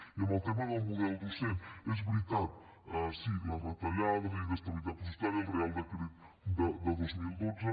i en el tema del model docent és veritat sí les retallades la inestabilitat pressupostària el reial decret de dos mil dotze